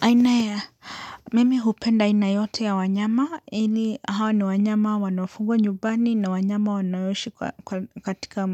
Aina ya, mimi hupenda aina yoyote ya wanyama, hawa ni wanyama wanaofugwa nyumbani na wanyama wanaoishi katika